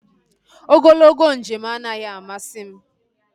Ogologo njem anaghị amasị m